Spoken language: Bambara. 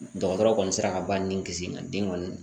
Dɔgɔtɔrɔ kɔni sera ka ba ni kisi nka den kɔni